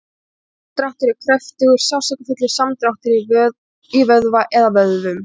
Sinadráttur er kröftugur, sársaukafullur samdráttur í vöðva eða vöðvum.